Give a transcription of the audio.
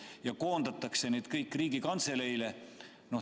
Need koondatakse kõik Riigikantseleisse.